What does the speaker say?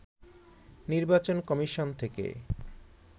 নির্বাচন কমিশন থেকে